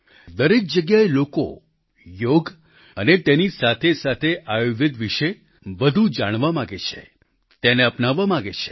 દરેક જગ્યાએ લોકોએ યોગ અને તેની સાથેસાથે આયુર્વેદ વિશે વધુ જાણવા માગે છે તેને અપનાવવા માગે છે